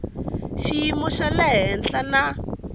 xiyimo xa le henhla na